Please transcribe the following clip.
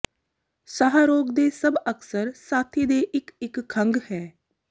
ਸਾਹ ਰੋਗ ਦੇ ਸਭ ਅਕਸਰ ਸਾਥੀ ਦੇ ਇੱਕ ਇੱਕ ਖੰਘ ਹੈ